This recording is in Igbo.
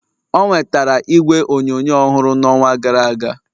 o nwetara igwe onyonyo ọhụrụ n'ọnwa gara aga